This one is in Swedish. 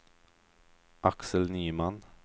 Axel Nyman